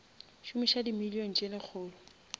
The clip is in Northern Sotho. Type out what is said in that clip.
šomiša di million tse lekgolo